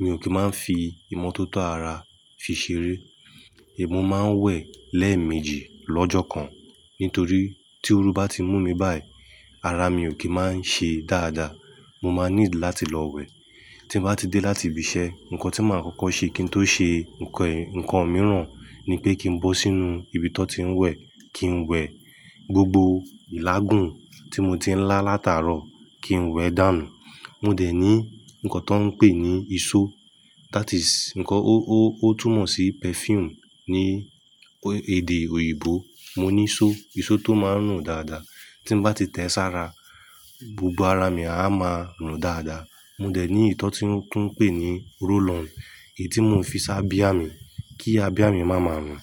mi ò kí máa ń fi ìmọ́tótó ara fi ṣeré. Èmi máa ń wẹ̀ lẹ́ẹ̀mejì lọ́jọ́ kan nítorí tí oru bá ti mú mi báyìí, ara mi ò kí máa ń ṣe dáadáa. Mo máa ní láti lọ wẹ̀. Tí mo bá ti dé láti ibi iṣẹ́, nǹkan tí màá kọ́kọ́ ṣe kí n tó ṣe nǹkan mìíràn ni pé kí n bó sínú ibi tó ti ń wẹ̀, kí n wẹ̀ gbogbo ìlágùn tí mo ti ń lá látàárọ̀ kí n wẹ̀ dànù. Mo dẹ̀ ní ǹkan tó ń pè ní ìṣó, that is ǹkan ó, ó, ó túmọ̀ sí perfume ní èdè òyìnbó. Mo ní ìṣó, ìṣó tó máa ń rùn dáadáa. Tí mo bá ti tẹ sí ara, gbogbo ara mi a máa ń rùn dáadáa. Mo dẹ̀ ní ìtọ́ tí wọ́n tún ń pè ní roll on èyí tí mò ń fi sá bíà mi kí abìá mi máa ma rùn.